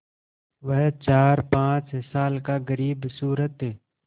वह चारपाँच साल का ग़रीबसूरत